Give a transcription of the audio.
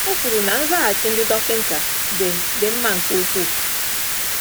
O kwuru na nzaghachi ndị dọkịnta “dị “dị mma nke ukwuu.”